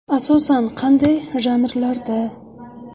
Asosan qanday janrlarda?